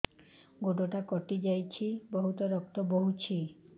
ଗୋଡ଼ଟା କଟି ଯାଇଛି ବହୁତ ରକ୍ତ ବହୁଛି